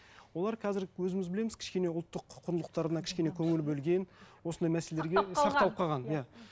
олар қазір өзіміз білеміз кішкене ұлттық құндылықтарына кішкене көңіл бөлген осындай мәселелерге сақталып қалған иә